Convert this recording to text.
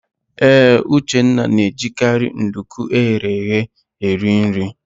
Ee, Uchenna na-ejikarị nduku eghere eghe eri nri.